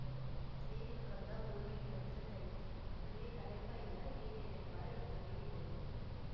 ஏறி ஒக்காந்தா ஒரு மணி நேரத்தில தைப்பிங் அப்படியே களைப்பா இருந்தா இடையில இளைப்பாற எத்தனையோ இடம் இருக்கு